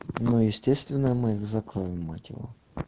ну естественно мы закроем мать его